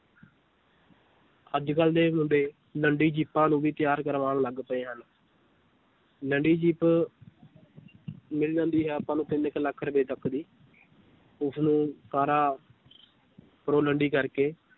ਅੱਜ ਕੱਲ੍ਹ ਦੇ ਮੁੰਡੇ ਲੰਡੀ ਜੀਪਾਂ ਨੂੰ ਵੀ ਤਿਆਰ ਕਰਵਾਉਣ ਲੱਗ ਪਏ ਹਨ ਲੰਡੀ ਜੀਪ ਮਿਲ ਜਾਂਦੀ ਹੈ ਆਪਾਂ ਨੂੰ ਤਿੰਨ ਕੁ ਲੱਖ ਰੁਪਏ ਦੀ ਉਸਨੂੰ ਕਾਰਾਂ ਉੱਪਰੋਂ ਲੰਡੀ ਕਰਕੇ